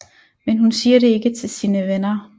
Men hun siger det ikke til sine venner